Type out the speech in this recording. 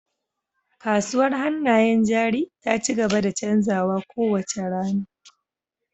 Kasuwar hannayen jari ta ci gaba da canzawa kowace rana